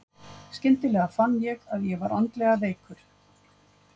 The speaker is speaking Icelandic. Skyndilega fann ég að ég var andlega veikar.